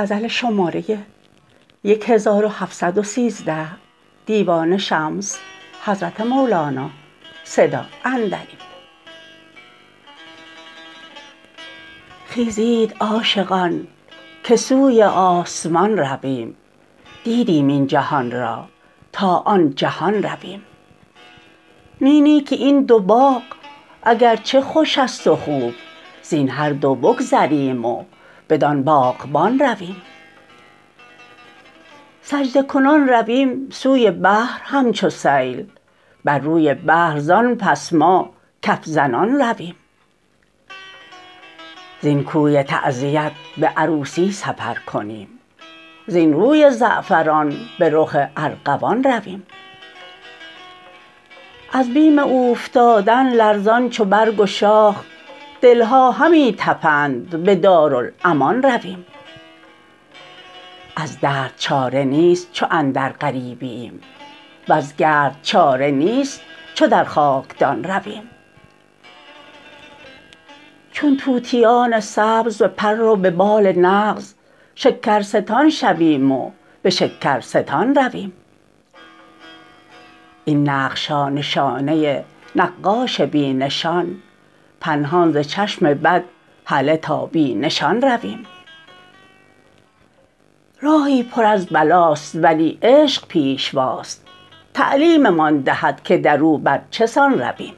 خیزید عاشقان که سوی آسمان رویم دیدیم این جهان را تا آن جهان رویم نی نی که این دو باغ اگر چه خوش است و خوب زین هر دو بگذریم و بدان باغبان رویم سجده کنان رویم سوی بحر همچو سیل بر روی بحر زان پس ما کف زنان رویم زین کوی تعزیت به عروسی سفر کنیم زین روی زعفران به رخ ارغوان رویم از بیم اوفتادن لرزان چو برگ و شاخ دل ها همی طپند به دارالامان رویم از درد چاره نیست چو اندر غریبییم وز گرد چاره نیست چو در خاکدان رویم چون طوطیان سبز به پر و به بال نغز شکرستان شویم و به شکرستان رویم این نقش ها نشانه نقاش بی نشان پنهان ز چشم بد هله تا بی نشان رویم راهی پر از بلاست ولی عشق پیشواست تعلیممان دهد که در او بر چه سان رویم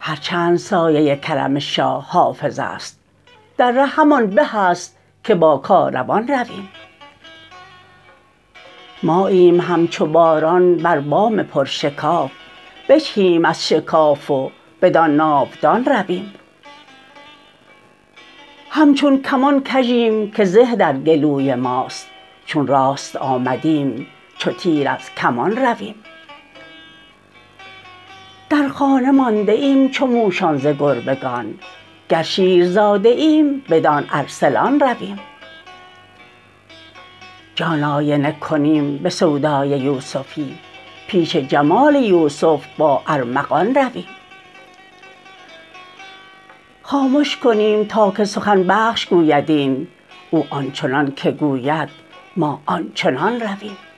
هر چند سایه کرم شاه حافظ است در ره همان به ست که با کاروان رویم ماییم همچو باران بر بام پرشکاف بجهیم از شکاف و بدان ناودان رویم همچون کمان کژیم که زه در گلوی ماست چون راست آمدیم چو تیر از کمان رویم در خانه مانده ایم چو موشان ز گربگان گر شیرزاده ایم بدان ارسلان رویم جان آینه کنیم به سودای یوسفی پیش جمال یوسف با ارمغان رویم خامش کنیم تا که سخن بخش گوید این او آن چنانک گوید ما آن چنان رویم